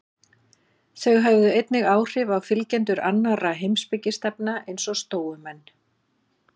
Þau höfðu einnig áhrif á fylgjendur annarra heimspekistefna, eins og stóumenn.